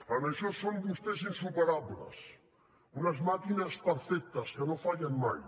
en això són vostès insuperables unes màquines perfectes que no fallen mai